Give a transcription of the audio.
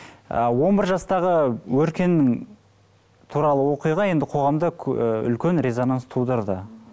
ы он бір жастағы өркен туралы оқиға енді қоғамда үлкен резонанс тудырды